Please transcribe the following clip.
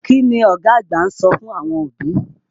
Kí ni ọ̀gá àgbà ń sọ fún àwọn òbí?